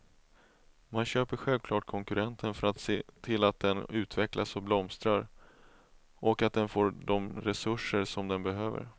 Man köper självklart konkurrenten för att se till att den utvecklas och blomstrar, och att den får de resurser som den behöver.